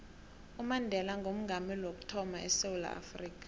umandela ngoomongameli wokuthama edewula afrika